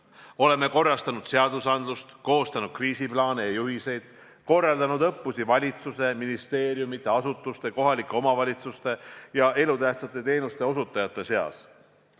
Oleme korrastanud seadusandlust, koostanud kriisiplaane ja juhiseid, korraldanud õppusi valitsuse, ministeeriumide, asutuste, kohalike omavalitsuste ja elutähtsate teenuste osutajate seas.